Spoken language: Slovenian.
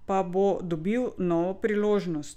Pa bo dobil novo priložnost?